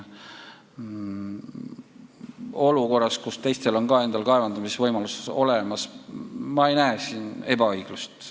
Olukorras, kus teistel on ka endal kaevandamisvõimalus olemas, ei näe ma siin ebaõiglust.